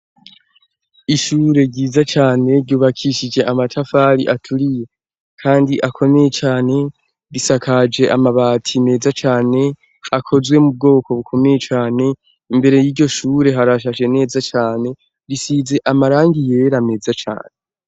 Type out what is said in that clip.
Ishure ryiza cane ryubakishije amatafari aturiye kandi akomeye cane, risakaje amabati meza cane akozwe mu bwoko bukomeye cane, imbere y'iryo shure harashaje neza cane, risize amarangi yera meza cane.